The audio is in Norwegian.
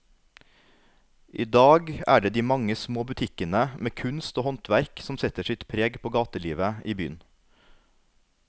I dag er det de mange små butikkene med kunst og håndverk som setter sitt preg på gatelivet i byen.